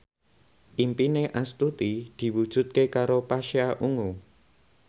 impine Astuti diwujudke karo Pasha Ungu